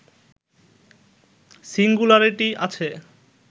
singularity আছে